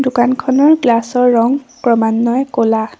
দোকানখনৰ গ্লাচৰ ৰঙ ক্ৰমান্বয়ে ক'লা।